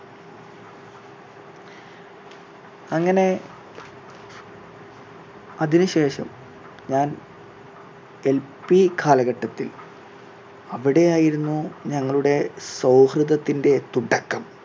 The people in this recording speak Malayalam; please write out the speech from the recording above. അങ്ങനെ അതിന് ശേഷം ഞാൻ എൽ പി കാലഘട്ടത്തിൽ അവിടെ ആയിരുന്നു ഞങ്ങളുടെ സൗഹൃദത്തിൻറെ തുടക്കം